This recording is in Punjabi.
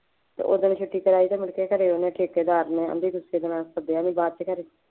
ਉਹ ਦਿਨ ਛੁੱਟੀ ਕਰਾਈ ਅਤੇ ਮੁੜਕੇ ਘਰੇ ਉਹਨਾ ਠੇਕੇਦਾਰ ਨਾਲ ਸੱਦਿਆ ਅਤੇ ਬਾਅਦ ਵਿੱਚ ਕਹਿੰਦੇ